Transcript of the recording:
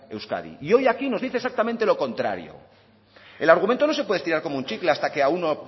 euskadi y hoy aquí nos dice exactamente lo contrario el argumento no se puede estirar como un chicle hasta que a uno